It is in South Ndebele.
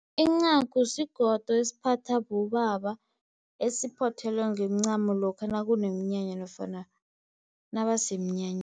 Incagu sigodo esiphathwa bobaba esiphothelwe ngeemcamo lokha nakuneminyanya nofana nabasemnyanyeni.